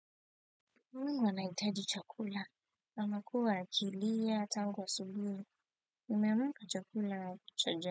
Mume anahitaji chakula, amekua akilia tangu asubuhi. Nimeamka chakula.